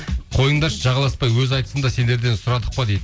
қойыңдаршы жағаласпай өзі айтсын да сендерден сұрадық па дейді